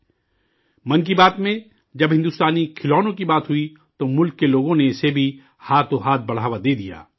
'من کی بات' میں، جب ہندوستانی کھلونوں کی بات ہوئی، تو ملک کے لوگوں نے اسے بھی ہاتھوں ہاتھ فروغ دیا